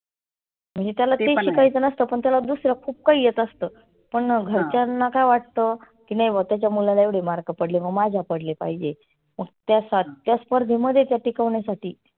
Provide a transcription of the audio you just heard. म्हणजे त्याला तेच शिकायच नसतं पण त्याला दुसरं खुप काही येत असतं. पण घरच्यांना काय वाटतं की नाही बुआ त्याच्या मुलाला एवढे mark पडले मग माझ्या पडले पाहीजे. मग त्या सा त्या स्पर्धेमध्ये टिकवण्यासाठी